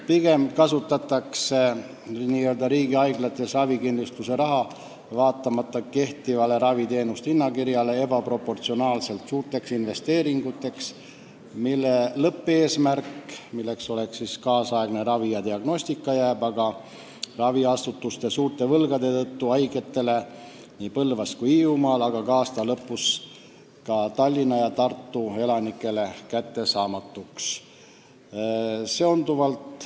Pigem kasutatakse n-ö riigihaiglates ravikindlustuse raha vaatamata kehtivale raviteenuste hinnakirjale ebaproportsionaalselt suurteks investeeringuteks, mille lõppeesmärk, tänapäevane ravi ja diagnoosimine jääb paraku raviasutuste suurte võlgade tõttu nii Põlvamaa kui ka Hiiumaa, aga aasta lõpus ka nii Tallinna kui ka Tartu elanikele kättesaamatuks.